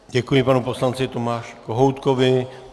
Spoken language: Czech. Děkuji panu poslanci Tomáši Kohoutkovi.